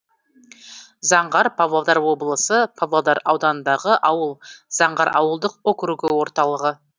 заңғар павлодар облысы павлодар ауданындағы ауыл заңғар ауылдық округі орталығы